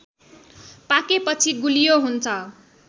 पाकेपछि गुलियो हुन्छ